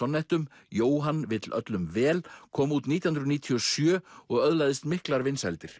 sonnettum Jóhann vill öllum vel kom út nítján hundruð níutíu og sjö og öðlaðist miklar vinsældir